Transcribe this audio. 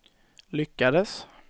lyckades